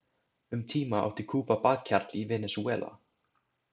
Um tíma átti Kúba bakhjarl í Venesúela.